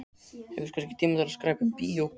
Hefurðu kannski tíma til að skreppa í bíó?